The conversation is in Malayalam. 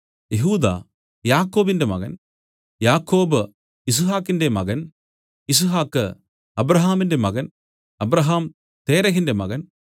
യെഹൂദാ യാക്കോബിന്റെ മകൻ യാക്കോബ് യിസ്ഹാക്കിന്റെ മകൻ യിസ്ഹാക്ക് അബ്രാഹാമിന്റെ മകൻ അബ്രാഹാം തേരഹിന്റെ മകൻ